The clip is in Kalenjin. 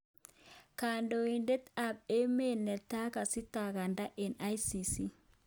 Kondoitet ap emet ne taa kesitakatat en ICC